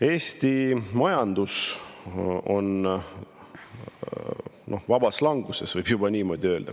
Eesti majandus on vabas languses, võib juba niimoodi öelda.